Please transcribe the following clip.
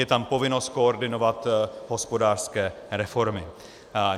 Je tam povinnost koordinovat hospodářské reformy.